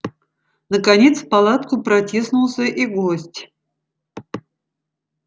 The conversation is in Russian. наконец в палатку протиснулся и гость